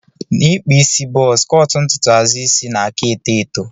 Na ikpụ isi buzz cọt ntụtụ azụ isi nna aka eto eto.